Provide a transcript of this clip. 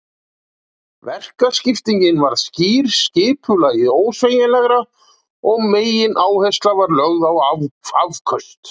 Verkaskipting varð skýr, skipulagið ósveigjanlegra og megináhersla var lögð á afköst.